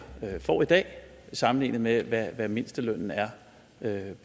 får i dag sammenlignet med hvad mindstelønnen er